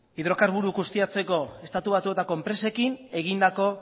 hidrokarburuak ustiatzeko estatu batuetako enpresekin egindako